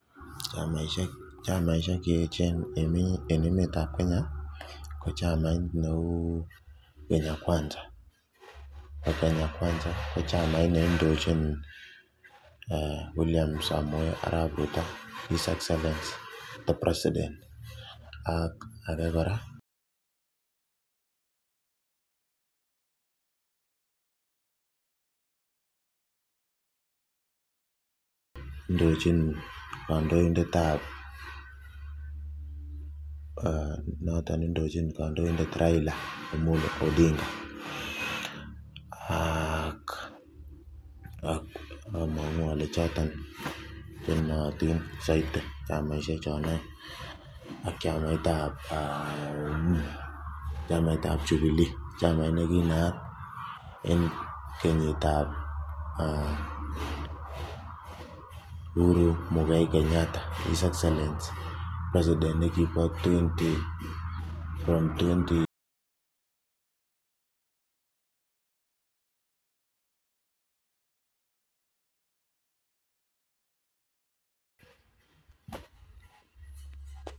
chamaisiek cheechen en emet ak kenya ko chamait neu Kenya kwanza ko chamait neindojin William samoei ruto his exellency the President ak age kora neindojin kandoindet ab noton neindojin kandoindet Raila amollo odinga ak among'u ole choton chenootin missing, chamaisiek choton oeng ak chamait ab jubilee chamait neginaat en kenyita ab Uhuru muigai kenyatta his exellency predident negibo from twenty...